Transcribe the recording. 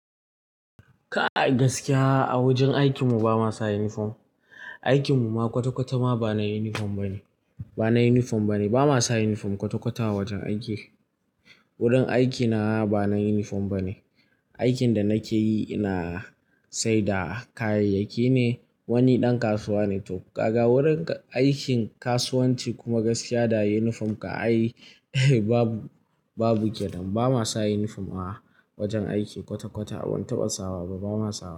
Kai gaskiya a wajen aikin mu ba ma sa uniform. Aikin mu ma kwata-kwata ma ba na uniform bane, ba na uniform bane. Ba ma sa uniform kwata-kwata a wajen aiki. Wurin aiki na ba na uniform bane. Aikin da na ke yi, ina saida kayayyaki ne, wani ɗan kasuwa ne to kaga wurin aikin kasuwanci kuma gaskiya da uniform kan ai babu, babu kenan ba ma sa uniform a wajen aiki kwata-kwata. Ban taɓa sawa ba, ba ma sawa.